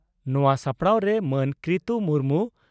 ᱱᱚᱣᱟ ᱥᱟᱯᱲᱟᱣᱨᱮ ᱢᱟᱱ ᱠᱤᱨᱛᱩ ᱢᱩᱨᱢᱩ